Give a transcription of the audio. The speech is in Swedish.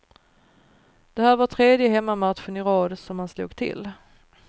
Det här var tredje hemmamatchen i rad som han slog till.